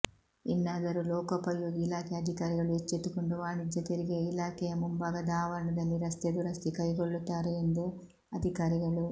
ಇನ್ನಾದರೂ ಲೋಕೋಪಯೋಗಿ ಇಲಾಖೆ ಅಧಿಕಾರಿಗಳು ಎಚ್ಚೆತ್ತುಕೊಂಡು ವಾಣಿಜ್ಯ ತೆರಿಗೆಯ ಇಲಾಖೆಯ ಮುಂಭಾಗದ ಆವರಣದಲ್ಲಿ ರಸ್ತೆ ದುರಸ್ತಿ ಕೈಗೊಳ್ಳುತ್ತಾರೆ ಎಂದು ಅಧಿಕಾರಿಗಳು